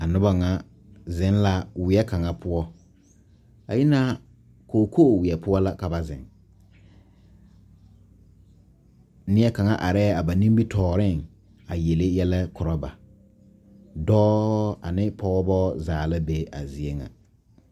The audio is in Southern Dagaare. A noba ŋa zeŋ la weɛ kaŋa poɔ a yina kookoo weɛ poɔ la ka ba zeŋ neɛ kaŋa arɛɛ a ba nimitɔɔreŋ a yele yɛlɛ korɔ ba dɔɔ ane pɔgeba zaa la be a zie ŋa.